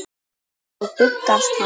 Þá bugast hann.